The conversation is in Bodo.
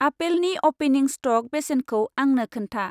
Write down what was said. आपेलनि अपेनिं स्टक बेसेनखौ आंनो खोन्था?